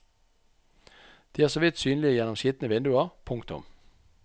De er så vidt synlige gjennom skitne vinduer. punktum